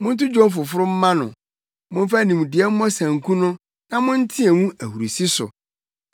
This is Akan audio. Monto dwom foforo mma no. Momfa nimdeɛ mmɔ sanku no na monteɛ mu ahurusi so!